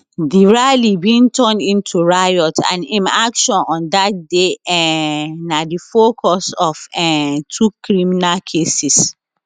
di rally bin turn into riot and im actions on dat day um na di focus of um two criminal cases